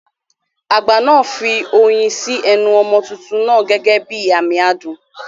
Àgbà náà fi oyin sí ẹnu ọmọ tuntun náà gẹ́gẹ́ bí àmì adùn.